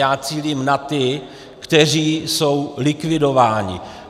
Já cílím na ty, kteří jsou likvidováni.